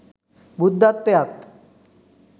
බුද්ධත්වයත්